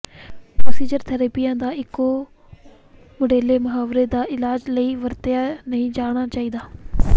procedural ਥੈਰੇਪੀਆਂ ਦਾ ਇੱਕੋ ਮੁਢਲੇ ਮੁਹਾਵਰੇ ਦੇ ਇਲਾਜ ਲਈ ਵਰਤਿਆ ਨਹੀਂ ਜਾਣਾ ਚਾਹੀਦਾ